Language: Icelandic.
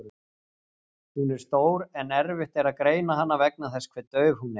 Hún er stór en erfitt er að greina hana vegna þess hve dauf hún er.